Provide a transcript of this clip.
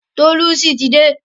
Tolucci ti dé.